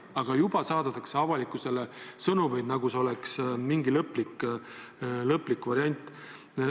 Aga juba saadetakse avalikkusele sõnumeid, nagu see oleks mingi lõplik variant.